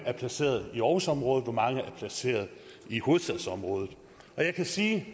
er placeret i aarhusområdet og hvor mange der er placeret i hovedstadsområdet og jeg kan sige at